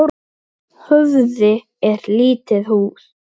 Höfði er lítið hús.